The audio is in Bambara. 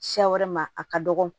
Siya wɛrɛ ma a ka dɔgɔ